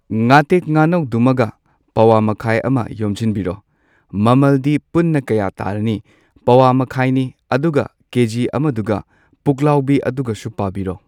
ꯉꯥꯇꯦꯛ ꯉꯥꯅꯧꯗꯨꯃꯒ ꯄꯋꯥ ꯃꯈꯥꯏ ꯑꯃ ꯌꯣꯝꯖꯤꯟꯕꯤꯔꯣ ꯃꯃꯜꯗꯤ ꯄꯨꯟꯅ ꯀꯌꯥ ꯇꯥꯔꯅꯤ ꯄꯋꯥ ꯃꯈꯥꯏꯅꯤ ꯑꯗꯨꯒ ꯀꯦꯖꯤ ꯑꯃꯗꯨꯒ ꯄꯨꯛꯂꯥꯎꯕꯤ ꯑꯗꯨꯒꯁꯨ ꯄꯥꯕꯤꯔꯣ꯫